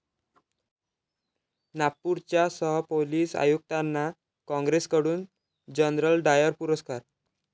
नागपूरच्या सहपोलीस आयुक्तांना काँग्रेसकडून 'जनरल डायर' पुरस्कार